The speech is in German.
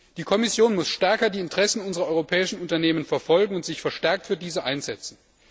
Die Kommission muss stärker die Interessen unserer europäischen Unternehmen verfolgen und sich verstärkt für diese einsetzen.